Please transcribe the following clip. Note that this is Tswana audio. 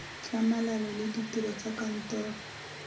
tlhamalalo le ditiro tsa kantoro